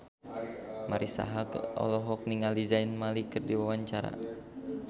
Marisa Haque olohok ningali Zayn Malik keur diwawancara